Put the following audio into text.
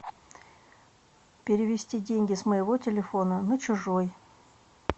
перевести деньги с моего телефона на чужой